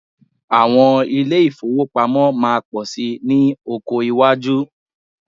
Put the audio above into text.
Àwọn ilé ìfowópamọ́ máa pọ̀ síi ní ọkọ iwájú